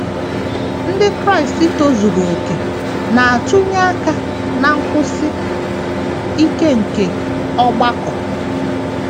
Ndị Kraịst tozuru okè na - atụnye aka ná nkwụsi ike nke ọgbakọ.